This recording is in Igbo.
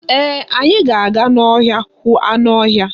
Ee, anyị ga-aga n'ọhịa hụ anụ ọhịa.